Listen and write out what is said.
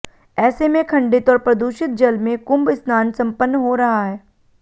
ऐसे में खंडित और प्रदूषित जल में कुम्भ स्नान सम्पन्न हो रहा है